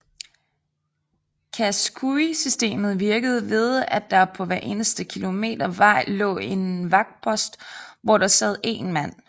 Chasqui systemet virkede ved at der på hver eneste kilometer vej lå en vagtpost hvor der sad én mand